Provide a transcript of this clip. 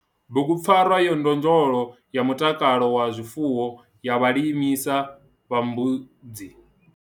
Bugu PFARWA YA NDONDOLO YA MUTAKALO WA ZWIFUWO YA VHALISA VHA MBUDZI.